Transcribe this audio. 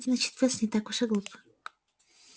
значит пёс не так уж и глуп